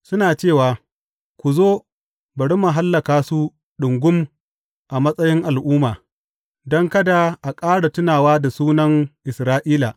Suna cewa, Ku zo, bari mu hallaka su ɗungum a matsayin al’umma, don kada a ƙara tuna da sunan Isra’ila.